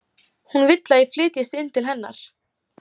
Hún vill að ég flytjist inn til hennar.